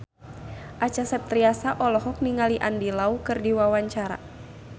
Acha Septriasa olohok ningali Andy Lau keur diwawancara